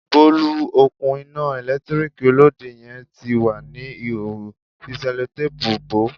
Bolu, òkun iná ẹ̀lẹ́tíríkì Olóde yẹn ti wà ní ìhòòhò, fi Sẹ́lótápùù bò ó.